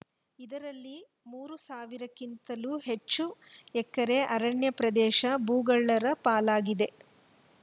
ಇದರಲ್ಲಿ ಮೂರು ಸಾವಿರಕ್ಕಿಂತಲೂ ಹೆಚ್ಚು ಎಕರೆ ಅರಣ್ಯ ಪ್ರದೇಶ ಭೂಗಳ್ಳರ ಪಾಲಾಗಿದೆ